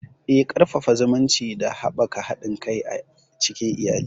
Eh, Ƙarfafa zumunci da haɓaka haɗin kai a cikin iyali.